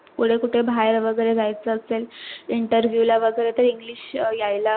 फुडें कुठे बाहेर वगैरे जायच असेल interview ला वगैरे तर english यायला